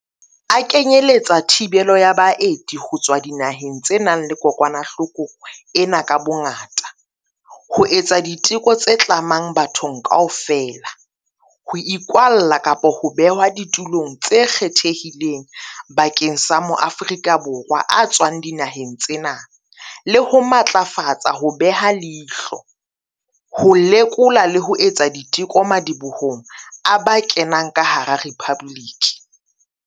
A kenyeletsa thibelo ya baeti ho tswa dinaheng tse nang le kokwanahloko ena ka bongata, ho etsa diteko tse tlamang bathong kaofela, ho ikwalla kapa ho behwa ditulong tse kgethehileng bakeng sa maAforika Borwa a tswang dinaheng tsena, le ho matlafatsa ho beha leihlo, ho lekola le ho etsa diteko madibohong a ba kenang ka hara Rephabliki.